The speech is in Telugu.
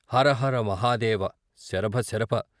హరహర మహాదేవ ! శరభ శరభ !